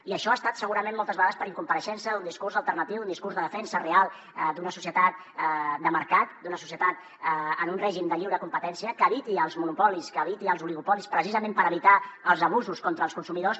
i això ha estat segurament moltes vegades per incompareixença d’un discurs alternatiu d’un discurs de defensa real d’una societat de mercat d’una societat en un règim de lliure competència que eviti els monopolis que eviti els oligopolis precisa ment per evitar els abusos contra els consumidors